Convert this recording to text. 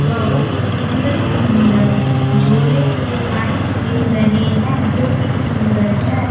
बहुत सुंदर सुंदर झोले दिखाई दे रहे हैं जो की सुंदर है।